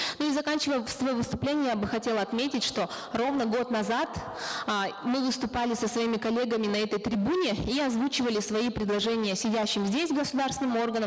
ну и заканчивая свое выступление я бы хотела отметить что ровно год назад э мы выступали со своими коллегами на этой трибуне и озвучивали свои предложения сидящим здесь государственным органам